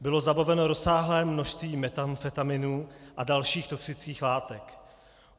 Bylo zabaveno rozsáhlé množství metamfetaminu a dalších toxických látek.